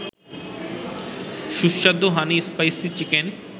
সুস্বাদু হানি-স্পাইসি-চিকেন